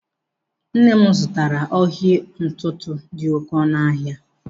Nne m zụtara ọhigọ ntụtụ dị oké ọnụ ahịa.